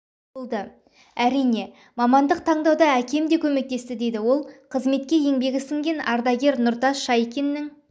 болды әрине мамандық таңдауда әкем де көмектесті дейді ол қызметке еңбегі сіңген ардагер нұртас шайкиннің